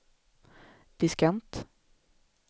diskant